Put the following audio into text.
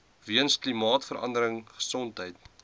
weens klimaatsverandering gesondheid